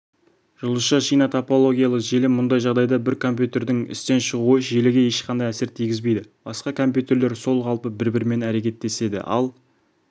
жұлдызша-шина топологиялы желі мұндай жағдайда бір компьютердің істен шығуы желіге ешқандай әсерін тигізбейді басқа компьютерлер сол қалпы бір-бірімен әрекеттеседі ал